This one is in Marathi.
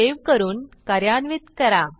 सेव्ह करून कार्यान्वित करा